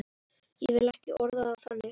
Ég vil ekki orða það þannig.